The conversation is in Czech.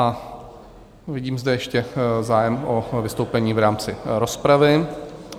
A vidím zde ještě zájem o vystoupení v rámci rozpravy.